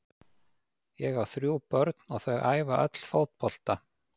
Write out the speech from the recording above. Ég á þrjú börn og þau æfa öll fótbolta.